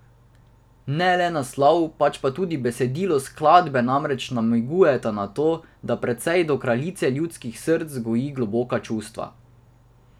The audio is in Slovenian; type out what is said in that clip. Ne le naslov, pač pa tudi besedilo skladbe namreč namigujeta na to, da pevec do kraljice ljudskih src goji globoka čustva.